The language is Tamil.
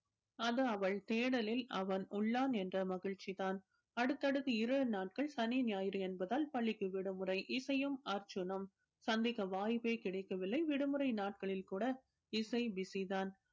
அது அவள் தேடலில் அவன் உள்ளான் என்ற மகிழ்ச்சி தான் அடுத்தடுத்து இரு நாட்கள் சனி ஞாயிறு என்பதால் பள்ளிக்கு விடுமுறை இசையும் அர்ஜுனும் சந்திக்க வாய்ப்பே கிடைக்கவில்லை விடுமுறை நாட்களில் கூட இசை busy தான்